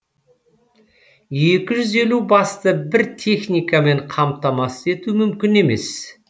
екі жүз елу басты бір техникамен қамтамасыз ету мүмкін емес